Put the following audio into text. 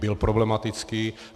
Byl problematický.